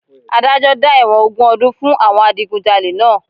Adájọ́ dá ẹ̀wọ̀n ogún ọdún fún àwọn Adigunjalè náà